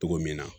Togo min na